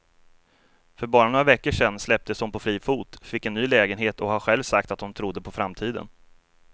För bara några veckor sedan släpptes hon på fri fot, fick en ny lägenhet och har själv sagt att hon trodde på framtiden.